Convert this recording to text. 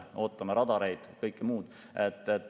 Ootame radareid, kõike muud.